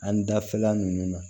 An dafɛla ninnu na